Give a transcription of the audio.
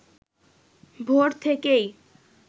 ভোর থেকেই